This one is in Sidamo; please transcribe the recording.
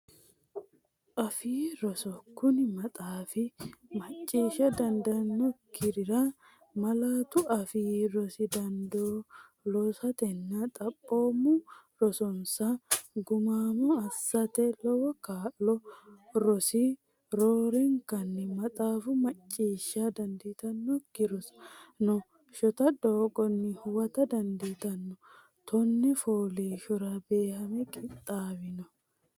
Afii Roso Kuni maxaafi macciishsha dandiitannokkirira malaatu afii rosi dandoo lossatenna xaphoomu rosonsa gumaamo assate lowo kaa’lo noosi Ro- orenkanni maxaafu macciishsha dandiitannokki rosaano shota doogonni huwata dandiitanno tonne fooliishshora beehame qixxaawino.